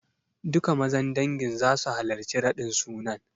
Duka Mazan dangin zasu halarci raɗin sunan.